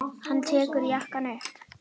Hann tekur jakkann upp.